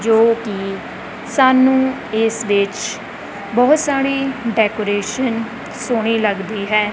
ਜੋ ਕਿ ਸਾਨੂੰ ਇਸ ਵਿੱਚ ਬਹੁਤ ਸਾਰੇ ਡੈਕੋਰੇਸ਼ਨ ਸੋਹਣੀ ਲੱਗਦੀ ਹੈ।